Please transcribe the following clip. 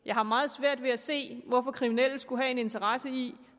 jeg har meget svært ved at se hvorfor kriminelle skulle have en interesse i